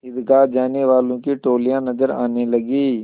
ईदगाह जाने वालों की टोलियाँ नजर आने लगीं